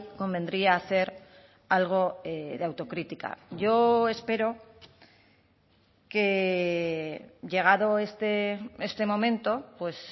convendría hacer algo de autocrítica yo espero que llegado este momento pues